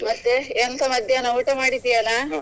ಮತ್ತೆ ಎಂತ ಮಧ್ಯಾಹ್ನ ಊಟ ಮಾಡಿದ್ಯಾನ?